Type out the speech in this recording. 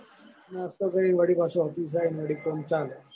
નાસ્તો કરીને વળી પાછો office જાયો ને વડી કોમ ચાલુ.